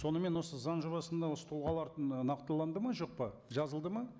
сонымен осы заң жобасында осы тұлғаларды ы нақтыланды ма жоқ па жазылды ма